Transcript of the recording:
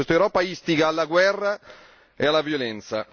Questa Europa istiga alla guerra e alla violenza.